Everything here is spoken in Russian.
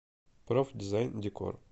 проф дизайн декор